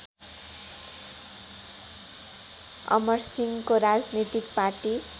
अमरसिंहको राजनीतिक पार्टी